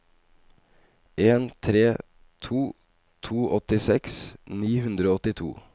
en tre to to åttiseks ni hundre og åttito